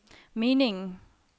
meningen